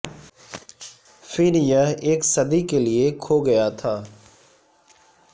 پھر یہ ایک صدی کے لئے کھو گیا تھا